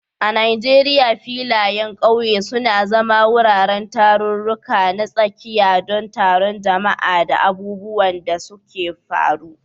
A Najeriya, filayen ƙauye suna zama wuraren tarurruka na tsakiya don taron jama'a da abubuwan da suka faru.